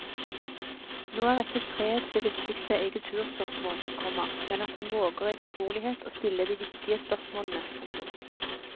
Nå er ikke fred det viktigste i kulturspørsmål, komma men at man våger i fortrolighet å stille de viktige spørsmålene. punktum